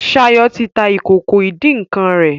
Shayo tí tá ìkókó idin nkán rè